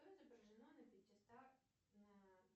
что изображено на пятиста на